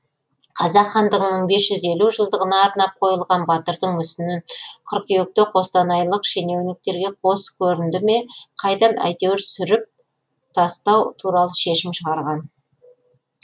қазақ хандығының бес жүз елу жылдығына арнап қойылған батырдың мүсінін қыркүйекте қостанайлық шенеуніктерге қос көрінді ме қайдам әйтеуір сүріп тастау туралы шешім шығарған